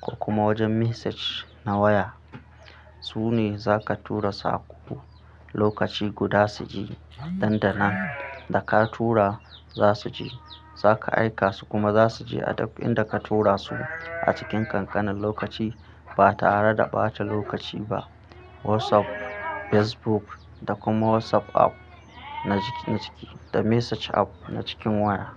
ko kuma wajen message na waya. Su ne zaka tura saƙo lokaci guda su je. Dandanan da ka tura za su je. Zaka aika su kuma za su je a duk inda ka tura su a cikin kankanin lokaci ba tare da ɓata lokaci ba. WhatsApp, Facebook da kuma WhatsApp app na jiki da message app na cikin waya.